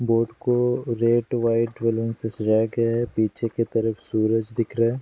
Boat को red white balloons से सजाया गया है पीछे के तरफ सूरज दिख रहा है।